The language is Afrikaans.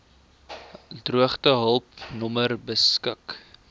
droogtehulp nommer beskik